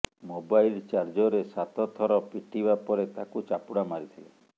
mobile ଚାର୍ଜରରେ ସାତ ଥର ପିଟିବା ପରେ ତାକୁ ଚାପୁଡ଼ା ମାରିଥିଲେ